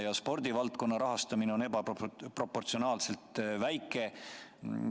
Ka spordivaldkonna rahastamine on ebaproportsionaalselt väike.